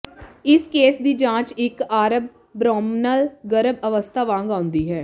ਇਸ ਕੇਸ ਦੀ ਜਾਂਚ ਇਕ ਆਰਮਬ੍ਰੋਨਲ ਗਰਭ ਅਵਸਥਾ ਵਾਂਗ ਆਉਂਦੀ ਹੈ